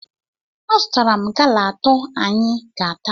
Azụtara m gala atọ anyị ga-ata